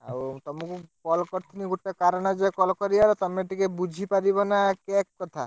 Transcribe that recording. ଆଉ ତମକୁ call କରିଥିନି, ଗୋଟେ କାରଣ ଯେ, call କରିଆ ର ତମେ ଟିକେ ବୁଝି ପାରିବ ନା cake କଥା?